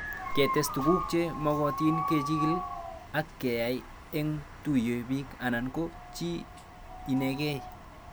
Ketes tuguk che magatin kechigil ak keyai eng'ye tuyo pik anan ko chii ineg'ei